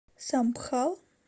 самбхал